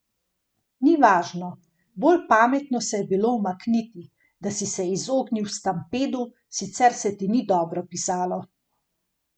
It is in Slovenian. Ni važno, bolj pametno se je bilo umakniti, da si se izognil stampedu, sicer se ti ni dobro pisalo.